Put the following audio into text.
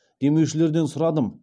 демушілерден сұрадым